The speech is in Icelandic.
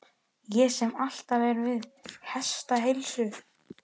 Ég sem alltaf er við hestaheilsu!